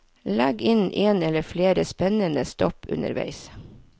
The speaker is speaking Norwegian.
Legg inn en eller flere spennende stopp underveis.